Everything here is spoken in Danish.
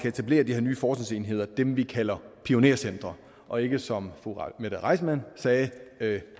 etablere de her nye forskningsenheder dem vi kalder pionercentre og ikke som fru mette reissmann sagde